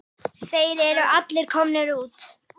Þeir eru allir komnir út.